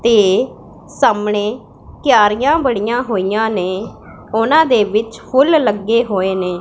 ਤੇ ਸਾਹਮਣੇ ਕਿਆਰੀਆਂ ਬਣੀਆਂ ਹੋਈਆਂ ਨੇ ਉਹਨਾ ਦੇ ਵਿੱਚ ਫੁੱਲ ਲੱਗੇ ਹੋਏ ਨੇਂ।